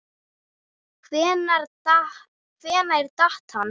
Hvenær datt hann?